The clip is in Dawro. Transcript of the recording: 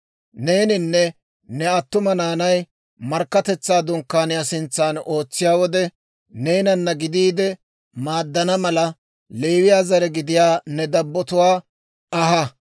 Neeninne ne attuma naanay Markkatetsaa Dunkkaaniyaa sintsan ootsiyaa wode, neenana gidiide maaddana mala, Leewiyaa zare gidiyaa ne dabbotuwaa aha.